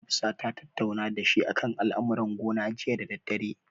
Hafsa ta tattauna dashi akan al'amuran gona jiya da daddare.